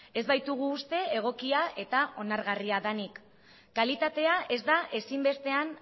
ez baitugu uste egokia eta onargarria denik kalitatea ez da ezinbestean